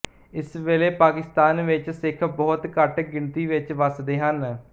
ਇਸ ਵੇਲੇ ਪਾਕਿਸਤਾਨ ਵਿੱਚ ਸਿੱਖ ਬਹੁਤ ਘੱਟ ਗਿਣਤੀ ਵਿੱਚ ਵਸਦੇ ਹਨ